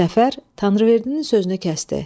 Səfər Tanrıverdinin sözünü kəsdi.